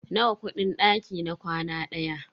Nawa kudin daki na kwana ɗaya?